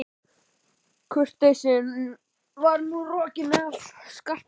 Kurteisin var nú rokin af Skapta.